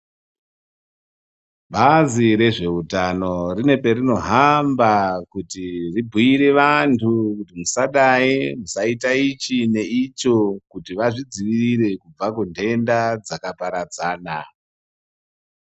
Bazi rezvehutano rine parinohamba kuti ribhire vantu kuti musadai itai icho nei icho kuti vazvidzivirire kubva kunhenda dzakaparadzana.